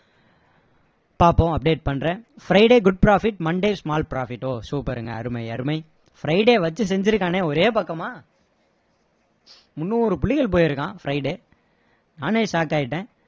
பாப்போம் update பண்றேன் friday good profit monday small profit ஓ super ங்க அருமை அருமை friday வச்சி செஞ்சிருக்கானே ஒரே பக்கமா முன்னூறு புள்ளிகள் போயிருக்கான் friday நானே shock ஆகிட்டேன்